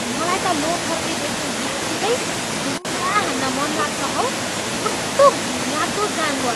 मलाई त लोथर्के देख्ने बित्तिकै ढुङ्गा हान्न मनलाग्छ हौ। कस्तो घिनलाग्दो जानवर!